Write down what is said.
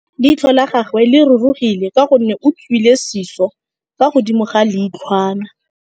Leitlhô la gagwe le rurugile ka gore o tswile sisô fa godimo ga leitlhwana.